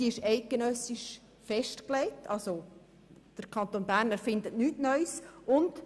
Allerdings ist diese eidgenössisch festgelegt, sodass der Kanton Bern nichts Neues damit erfindet.